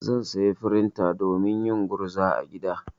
Zan saya frinta domin yin gurza a gida.